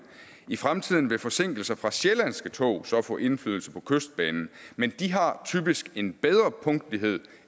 i fremtiden vil forsinkelser fra sjællandske tog så få indflydelse på kystbanen men de har typisk en bedre punktlighed